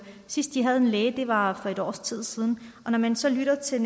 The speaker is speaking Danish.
sidst de havde en læge var for et års tid siden og når man så lytter til